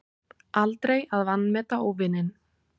Aldrei að vanmeta óvininn.